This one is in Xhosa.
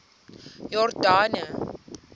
yordane